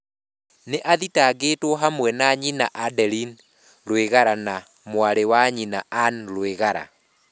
Nĩ athitangĩirũo hamwe na nyina Adeline Rwigara na mwarĩ wa nyina Anne Rwigara.